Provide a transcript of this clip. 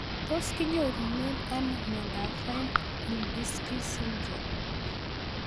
Tos kinyorune ano miondop Fine Lubinsky syndrome